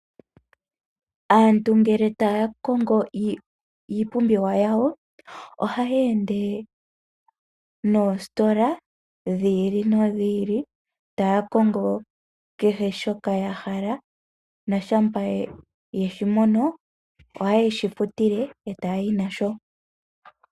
Aantu ngele taya kongo iipumbiwa yawo ohaya ende noositola dhi ili nodhi ili taya kongo kehe shoka ya hala na shampa yeshi mono ohayeshi futile eta ya yi nasho.